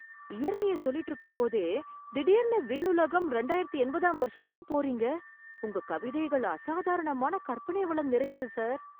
இயற்கைய சொல்லிட்டு இருக்கும்போதே திடீர்னு விண்ணுலகம், ரெண்டாயிரத்து எண்பதாம் வருஷத்துக்கு போறீங்க. உங்க கவிதைகள் அசாதாரணமான கற்பனை வளம் நிறைந்தது சார்.